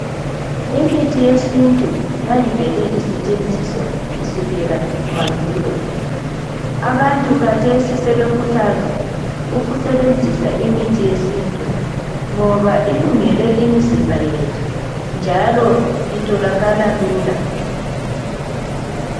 Imithi yesintu yayivelwe isentshenziswa kusukela mandulo. Abantu kathesi sebekhuthazwa ukusebenzisa imithi yesintu ngoba ilungele imizimba yethu njalo itholakala lula.